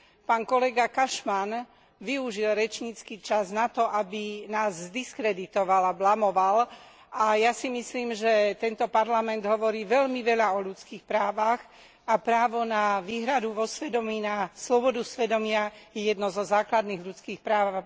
Pán kolega Cashman využil rečnícky čas na to, aby nás zdiskreditoval a blamoval, a ja si myslím, že tento Parlament hovorí veľmi veľa o ľudských právach, a právo na výhradu vo svedomí, na slobodu svedomia, je jedno zo základných ľudských práv.